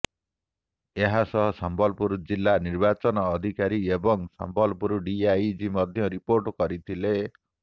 ଏହାସହ ସମ୍ବଲପୁର ଜିଲ୍ଲା ନିର୍ବାଚନ ଅଧିକାରୀ ଏବଂ ସମ୍ବଲପୁର ଡିଆଇଜି ମଧ୍ୟ ରିପୋର୍ଟ କରିଥିଲେ